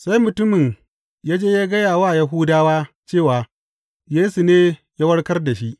Sai mutumin ya je ya gaya wa Yahudawa cewa Yesu ne ya warkar da shi.